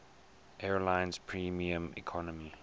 airlines premium economy